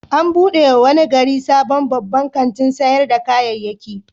An buɗe wa wani gari sabon babban kantin sayar da kayayyaki.